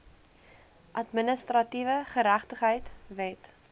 administratiewe geregtigheid wet